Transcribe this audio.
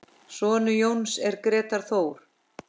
Sonur Jóns er Grétar Þór.